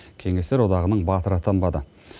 кеңестер одағының батыры атанбады